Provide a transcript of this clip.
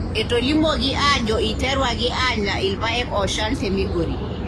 Etolimuoki aajo eiterwaki aanya irpaek ooshal te Migori.